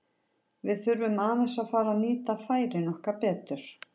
Við þurfum aðeins að fara að nýta færin okkar betur.